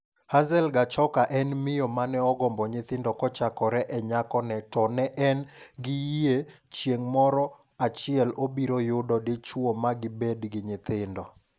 Hazel Gachoka en miyo mane ogombo nyithindokochakore e nyakoneto ne en gi yie chieng' moro achiel obiro yudo dichuo ma gi bed gi nyithindo.